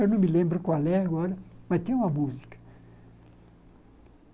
Eu não me lembro qual é agora, mas tem uma música.